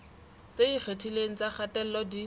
tse ikgethileng tsa kgatello di